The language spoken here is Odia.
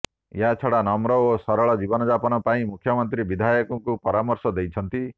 ଏହାଛଡ଼ା ନମ୍ର ଓ ସରଳ ଜୀବନଯାପନ ପାଇଁ ମୁଖ୍ୟମନ୍ତ୍ରୀ ବିଧାୟକଙ୍କୁ ପରାମର୍ଶ ଦେଇଛନ୍ତି